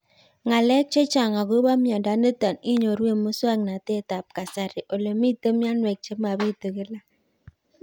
Ng'alek chechang' akopo miondo nitok inyoru eng' muswog'natet ab kasari ole mito mianwek che mapitu kila